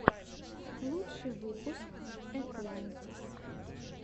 лучший выпуск этлантис